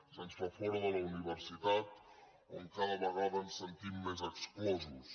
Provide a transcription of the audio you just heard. se’ns fa fora de la universitat d’on cada vegada ens sentim més exclosos